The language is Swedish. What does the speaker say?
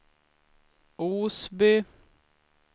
Osby